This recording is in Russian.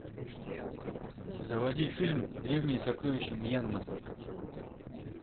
заводи фильм древние сокровища мьянмы